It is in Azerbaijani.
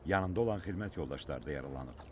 Yanında olan xidmət yoldaşları da yaralanıb.